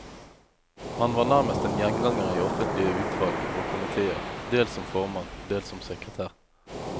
Han var nærmest en gjenganger i offentlige utvalg og komitéer, dels som formann, dels som sekretær.